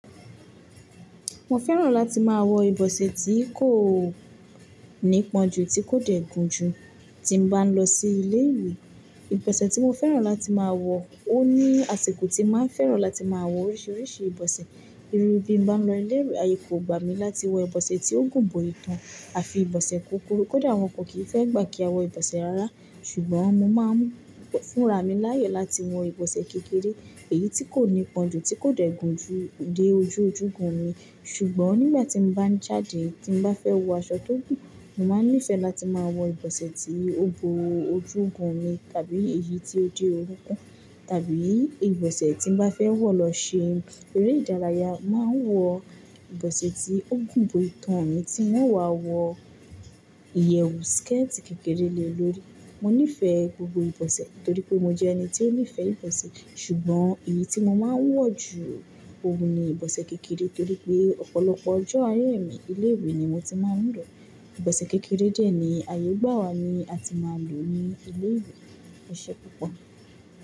Mo fẹ́ràn láti máa wọ ìbọ̀sẹ̀ tí kò ní pọ́njú, tí kò dẹ̀ gún jù tí n bá lọ sí ilé ìwé. Ìbọ̀sẹ̀ tí mo fẹ́ràn láti máa wọ, ó ní àsìkò tí máa fẹ́ràn láti máa wọ oríṣìíríṣìí ìbọ̀sẹ̀. Irú bí n bá lọ ilé ìwé, ayé kò gbà mí láti wọ ìbọ̀sẹ̀ tí ó gùn bó itan àfi ìbọ̀sẹ̀ kúkúrú. Kódà wọn ọ kọ̀ kìí fẹ́ gbà kí a wọ ìbọ̀sẹ̀ ara, ṣùgbọ́n mo máa ń fúnra mi láàyè láti wọ ìbọ̀sẹ̀ kékeré, èyí tí kò ní pọ́njú, tí kò dẹ̀ gún jù dé ojú ojúgun mi. Ṣùgbọ́n nígbà tí n bá ń jáde tí n bá fẹ́ wọ aṣọ tó gùn, mo máa nífẹ̀ẹ́ láti máa wọ ìbọ̀sẹ̀ tí ó bo ojúgun mi tàbí èyí tí ó dé orúnkún tàbí ìbọ̀sẹ̀ tí n bá fẹ́ wọ̀ lọ ṣe eré ìdárayá, máa wọ ìbọ̀sẹ̀ tí ó gùn bó itan mi tí wọn wá wọ ìyẹ̀ skẹ́ẹ̀tì kékeré le lórí. Mo nífẹ̀ẹ́ gbogbo ìbọ̀sẹ̀ torí pé mo jẹ́ ẹni tí ó nífẹ̀ẹ́ ìbọ̀sẹ̀, ṣùgbọ́n, èyí tí mo máa ń wọ̀ jù oùn ni ìbọ̀sẹ̀ kékeré torí pé ọ̀pọ̀lọpọ̀ ọjọ́ ayé mi ilé ìwé ni mo ti máa ń lọ. Ìbọ̀sẹ̀ kékeré dẹ ní ayé gbà wá ni a ti máa lò ní ilé ìwé eṣẹ́ púpọ̀.